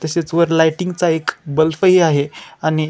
तसेच वर लाइटिंगचा एक बल्ब आहे. आणि --